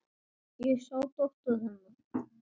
Ég sá dóttur. hennar.